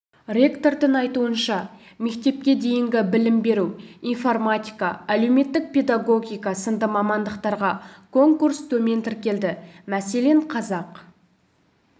ректордың айтуынша мектепке дейінгі білім беру информатика әлеуметтік педагогика сынды мамандықтарға конкурс төмен тіркелді мәселен қазақ